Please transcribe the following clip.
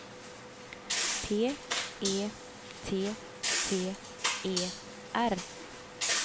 P E T T E R